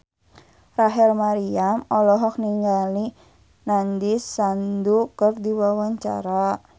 Rachel Maryam olohok ningali Nandish Sandhu keur diwawancara